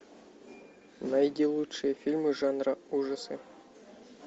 найди лучшие фильмы жанра ужасы